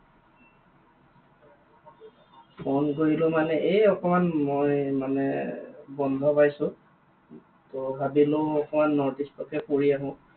Phone কৰিলো মানে এই অকণমান মই মানে বন্ধ পাইছো, ত ভাবিলো অকণমান north east ফুৰি আহো।